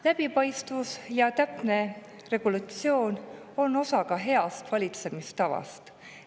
Läbipaistvus ja täpne regulatsioon on ka osa heast valitsemistavast.